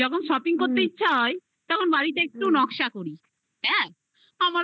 যখন shopping করতে ইচ্ছে হয় তখন বাড়িটা একটু নকশা করি. এক আমার ভালো